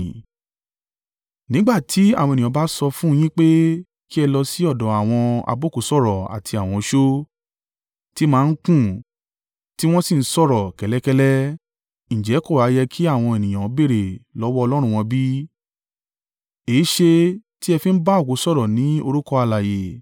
Nígbà tí àwọn ènìyàn bá sọ fún un yín pé kí ẹ lọ sí ọ̀dọ̀ àwọn abókùúsọ̀rọ̀ àti àwọn oṣó, ti máa ń kún tí wọ́n sì ń sọ̀rọ̀ kẹ́lẹ́kẹ́lẹ́, ǹjẹ́ kò ha yẹ kí àwọn ènìyàn béèrè lọ́wọ́ Ọlọ́run wọn bí? Èéṣe tí ẹ fi ń bá òkú sọ̀rọ̀ ní orúkọ alààyè?